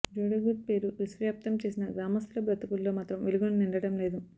జోడేఘాట్ పేరు విశ్వవ్యాప్తం చేసినా గ్రామస్తుల బతుకుల్లో మాత్రం వెలుగులు నిండడం లేదు